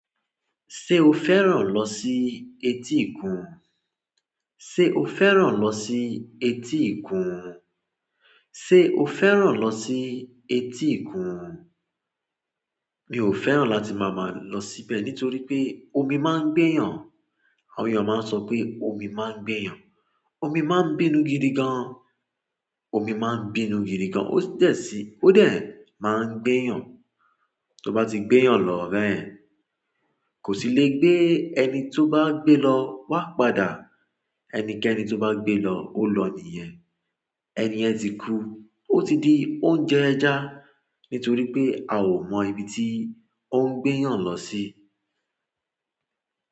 Ṣé o fẹ́ràn lọ sí etíkun? Ṣé o fẹ́ràn lọ sí etíkun? Ṣé o fẹ́ràn lọ sí etíkun? Mi ò fẹ́ràn láti máa má lọ síbẹ̀ nítorí pé omi máa ń gbé eeyàn. Àwọn èèyàn máa ń sọ pé omi máa ń gbé yàn. Omi máa ń bínú gidi gan. Omi máa ń bínú gidi gan. Ó dẹ̀ sí-- ó dẹ̀ máa ń gbé eeyàn. Tó bá ti gbé eeyàn lọ bẹ́yen, kò sì lè gbé ẹni tó bá gbé lọ wá padà. Ẹnikẹni tó bá gbé lọ, ó lọ nìyẹn. Ẹni yẹn ti kú, ó ti di oúnjẹ ẹja nítorí pé a ò mọ ibi tí ó ń gbé yàn lọ sí.